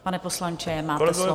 Pane poslanče, máte slovo.